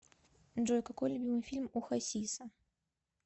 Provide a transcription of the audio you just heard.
джой какой любимый фильм у хасиса